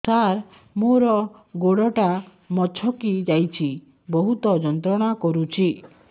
ସାର ମୋର ଗୋଡ ଟା ମଛକି ଯାଇଛି ବହୁତ ଯନ୍ତ୍ରଣା କରୁଛି